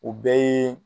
O bɛɛ ye